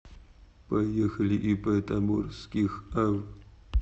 поехали ип таборских ав